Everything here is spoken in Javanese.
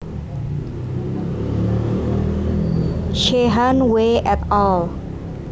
Sheehan W et al